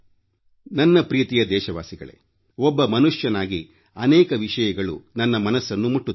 ನನ್ನ ಪ್ರೀತಿಯ ದೇಶವಾಸಿಗಳೇ ಒಬ್ಬ ಮನುಷ್ಯನಾಗಿ ಅನೇಕ ವಿಷಯಗಳು ನನ್ನ ಮನಸನ್ನು ಮುಟ್ಟುತ್ತವೆ